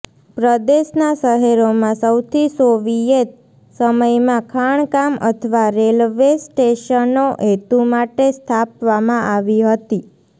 પ્રદેશના શહેરોમાં સૌથી સોવિયેત સમયમાં ખાણકામ અથવા રેલવે સ્ટેશનો હેતુ માટે સ્થાપવામાં આવી હતી